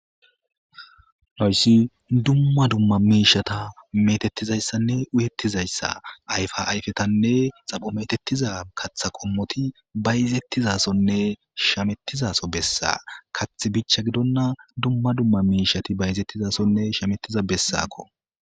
noyssi dumma dumma miishata metettizayssanne uyettizayssa ayfa ayfetanne xapho metettiza katha qommoti bayizettizasonne shamettizaso bessa kath bichcha gidonna dumma dumma miishati bayzettizasonne shamettiza bessako